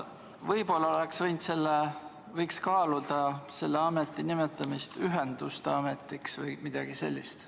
Võib-olla oleks võinud kaaluda selle ameti nimetamist Ühenduste Ametiks või midagi sellist.